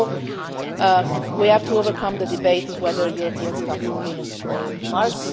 use. So we have to overcome the debate about whether Europeans come from Venus or